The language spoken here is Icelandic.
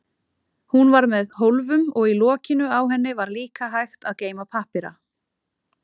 Hún var með hólfum og í lokinu á henni var líka hægt að geyma pappíra.